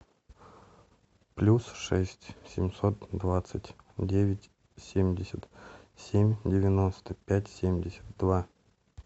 плюс шесть семьсот двадцать девять семьдесят семь девяносто пять семьдесят два